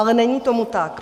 Ale není tomu tak.